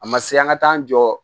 A ma se an ka taa an jɔ